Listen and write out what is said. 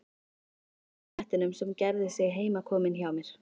Klappaði svarta kettinum sem gerði sig heimakominn hjá mér.